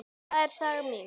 Það er saga mín.